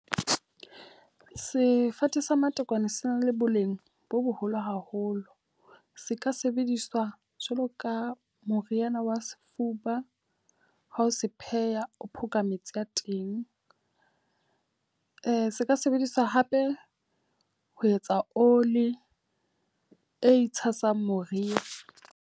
Sefate sa matekwane se na le boleng bo boholo haholo. Se ka sebediswa jwalo ka moriana wa sefuba ha o sa se pheha, o phoka metsi a teng. se ka sebediswa hape ho etsa oli e tshasang moriri.